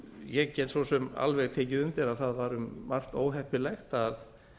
ég get svo sem alveg tekið undir að það var um margt óheppilegt að